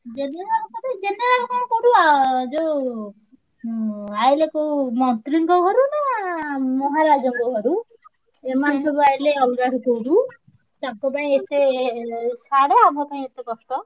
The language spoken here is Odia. General କଣ କରିଆ ଯୋଉ ଉଁ ଆଇଲେ କୋଉ ମନ୍ତ୍ରୀ ଙ୍କ ଘରୁ ନାଁ ମହାରାଜ ଙ୍କ ଘରୁ ସେମାନେ ସବୁଆଇଲେ ଅଲଗା ତାଙ୍କ ପାଇଁ ଏତେ ଛାଡ ଅମପାଇଁ ଏତେ କଷ୍ଟ।